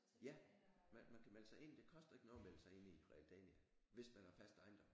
Ja! Man man kan melde sig ind det koster ikke noget at melde sig ind i Realdania hvis man har fast ejendom